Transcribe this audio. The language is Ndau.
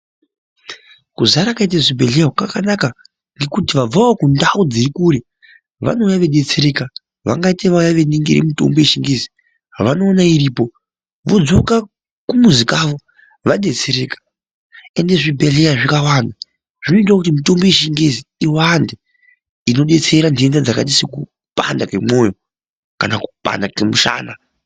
Kuzara kwaita zvibhedhlera uku kwakanaka ngekuti vabvawo kundau dziri kure vanouya veidetsereka vangaite vauya kooningira mitombo yechingezi vanoona iripo vodzoka kumuzi kavo vadetsereka ende zvibhedhleya zvikawanda zvinoitawo kuti mitombo yechingezi iwande inodetsera ntenda dzakaita sekupanda kwemwoyo kana kupanda kwemushana.